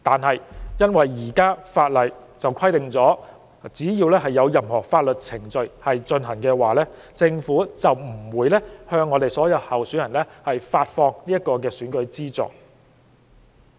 可是，受現行法例所限，只要任何相關法律程序尚在進行，政府就不能向所有候選人發放選舉資助。